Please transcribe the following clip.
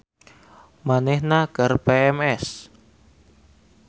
Manehna keur PMS